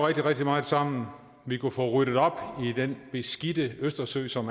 rigtig meget sammen vi kunne få i den beskidte østersø som